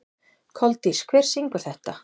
Koldís, hver syngur þetta lag?